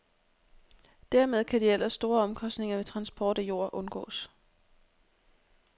Dermed kan de ellers store omkostninger ved transport af jord undgås.